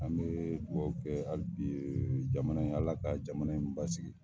An bɛ duwɔwu kɛ hali bi jamana in Ala ka jamana in basigi